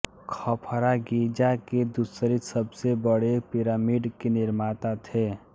Khafre Giza के दूसरे सबसे बड़े पिरामिड के निर्माता थे